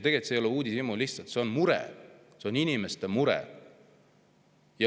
Tegelikult ei ole see uudishimu, see on lihtsalt mure, inimeste mure.